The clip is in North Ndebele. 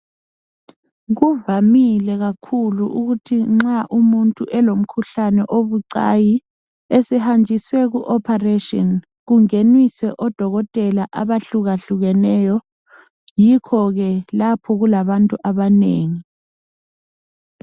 Kuvamile kakhulu ukuthi nxa umuntu elomkhuhlane obucayi esehanjiswe ku operation kungeniswe odokotela abahlukahlukeneyo. Yikho ke lapho kulabantu abanengi.